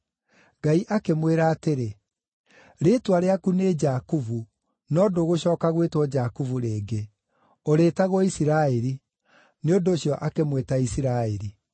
Ngai akĩmwĩra atĩrĩ, “Rĩĩtwa rĩaku nĩ Jakubu, no ndũgũcooka gwĩtwo Jakubu rĩngĩ; ũrĩĩtagwo Isiraeli.” Nĩ ũndũ ũcio akĩmwĩta Isiraeli.